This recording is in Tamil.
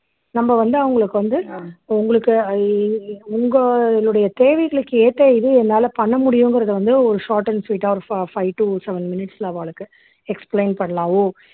நம்ம வந்து அவங்களுக்கு வந்து உங்களுக்கு உங்களுடைய தேவைகளுக்கு ஏத்த இது என்னால பண்ண முடியுங்கிறது வந்து ஒரு short and sweet ஆ ஒரு phi five to seven minutes ல அவாளுக்கு explain பண்ணலாம் ஓ